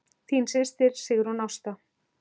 Þín systir, Sigrún Ásta.